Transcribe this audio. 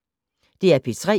DR P3